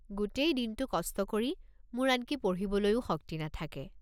গোটেই দিনটো কষ্ট কৰি মোৰ আনকি পঢ়িবলৈও শক্তি নাথাকে।